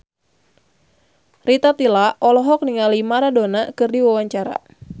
Rita Tila olohok ningali Maradona keur diwawancara